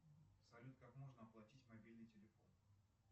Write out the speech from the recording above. салют как можно оплатить мобильный телефон